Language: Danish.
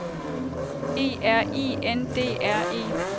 E R I N D R E